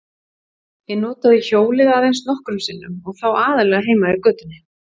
Ég notaði hjólið aðeins nokkrum sinnum og þá aðallega heima í götunni.